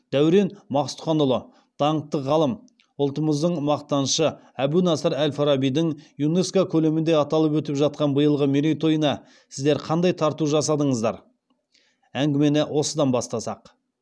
дәурен мақсұтханұлы даңқты ғалым ұлтымыздың мақтанышы әбу насыр әл фарабидің юнеско көлемінде аталып өтіп жатқан биылғы мерейтойына сіздер қандай тарту жасадыңыздар әңгімені осыдан бастасақ